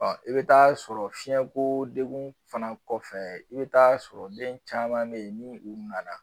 i bɛ taa sɔrɔ fiyɛnko degun fana kɔfɛ i bɛ taa sɔrɔ den caman bɛ ye ni u nana